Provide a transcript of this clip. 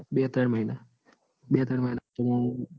બે ત્રણ મહિના બે ત્રણ મહિના